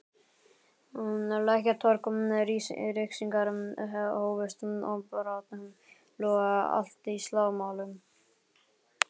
Lækjartorg, ryskingar hófust og brátt logaði allt í slagsmálum.